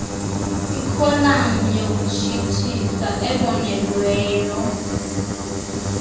kwikholam yokutshisthisa ebonelelweyo